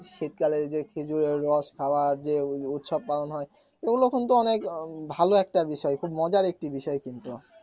শীতকালে যে খেজুরের রস খাওয়ার যে উৎসব পালন হয় ওগুলো কিন্তু অনেক ভালো একটা বিষয় খুব মজার একটি বিষয় কিন্তু